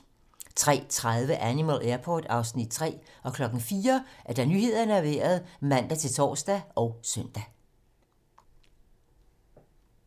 03:30: Animal Airport (Afs. 3) 04:00: Nyhederne og Vejret (man-tor og søn)